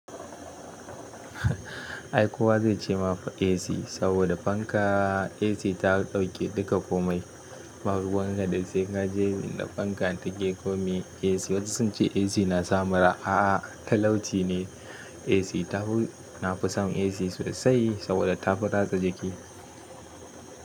Ai kowa zai ce ma fa AC saboda fanka AC ta ɗauke duka komai, ba ruwan ka da sai ka je inda fanka take ko meye AC. Wasu sun ce AC na sa mura a'a talauci ne AC. Tafi nafi son AC sosai saboda tafi ratsa jiki.